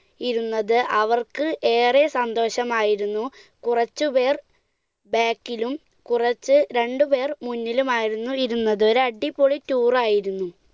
ഇരുന്നത്, അവർക്ക് ഏറെ സന്തോഷമായിരുന്നു. കുറച്ചുപേർ back ലും കുറച്ച് ~രണ്ടുപേർ മുന്നിലുമായിരുന്നു ഇരുന്നത്. ഒരടിപൊളി tour ആയിരുന്നു.